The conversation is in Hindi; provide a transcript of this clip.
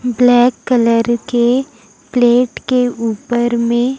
ब्लैक कलर के प्लेट के ऊपर में--